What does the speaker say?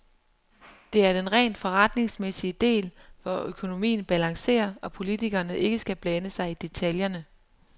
Det er den rent forretningsmæssige del, hvor økonomien balancerer og politikerne ikke skal blande sig i detaljerne.